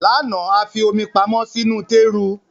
Lánàá, a fi omi pamọ́ sínú tééru